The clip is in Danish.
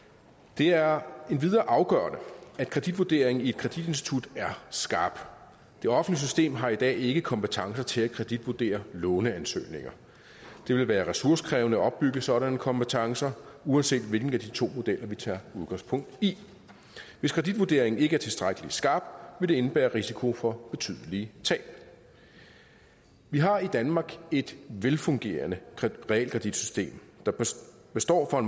det er endvidere afgørende at kreditvurderingen i et kreditinstitut er skarp det offentlige system har i dag ikke kompetencer til at kreditvurdere låneansøgninger det vil være ressourcekrævende at opbygge sådanne kompetencer uanset hvilken af de to modeller vi tager udgangspunkt i hvis kreditvurderingen ikke er tilstrækkelig skarp vil det indebære risiko for betydelige tab vi har i danmark et velfungerende realkreditsystem der står for